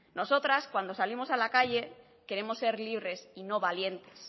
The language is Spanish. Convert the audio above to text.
nosotras cuando salimos a la calle queremos ser libres y no valientes